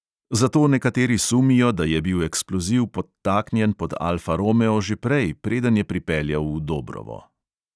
Zato nekateri sumijo, da je bil eksploziv podtaknjen pod alfa romeo že prej, preden je pripeljal v dobrovo.